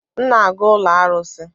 M na-aga ụlọ arụsị.